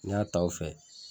N'i y'a ta o fɛ,